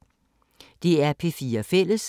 DR P4 Fælles